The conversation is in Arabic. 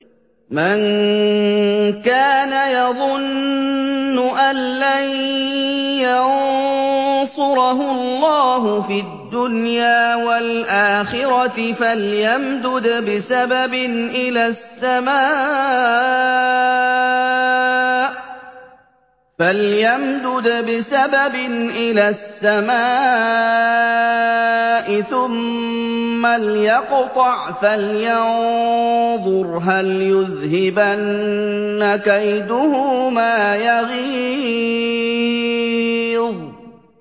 مَن كَانَ يَظُنُّ أَن لَّن يَنصُرَهُ اللَّهُ فِي الدُّنْيَا وَالْآخِرَةِ فَلْيَمْدُدْ بِسَبَبٍ إِلَى السَّمَاءِ ثُمَّ لْيَقْطَعْ فَلْيَنظُرْ هَلْ يُذْهِبَنَّ كَيْدُهُ مَا يَغِيظُ